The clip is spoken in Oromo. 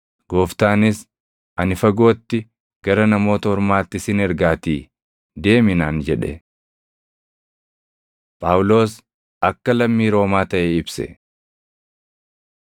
“Gooftaanis, ‘Ani fagootti, gara Namoota Ormaatti sin ergaatii deemi’ naan jedhe.” Phaawulos Akka Lammii Roomaa Taʼe Ibse